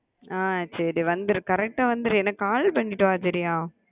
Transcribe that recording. ஆஹ் சரி வந்துரு correct வந்துரு எனக்கு call பண்ணிட்டு வா சரியா